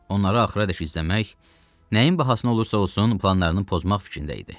Onları axıradək izləmək, nəyin bahasına olursa-olsun planlarını pozmaq fikrində idi.